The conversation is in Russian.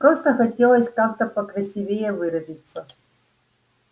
просто хотелось как-то покрасивее выразиться